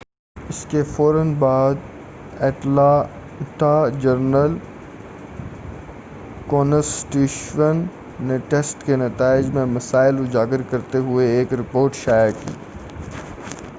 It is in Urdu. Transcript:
اس کے فورا بعد اٹلانٹا جرنل-کونسٹیچیوشن نے ٹیسٹ کے نتائج میں مسائل اجاگر کرتے ہوئے ایک رپورٹ شائع کی